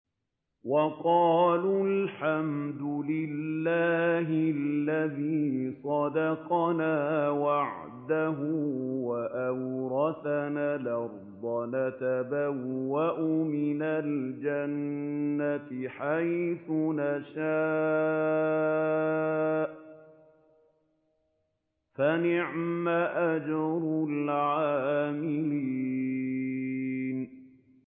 وَقَالُوا الْحَمْدُ لِلَّهِ الَّذِي صَدَقَنَا وَعْدَهُ وَأَوْرَثَنَا الْأَرْضَ نَتَبَوَّأُ مِنَ الْجَنَّةِ حَيْثُ نَشَاءُ ۖ فَنِعْمَ أَجْرُ الْعَامِلِينَ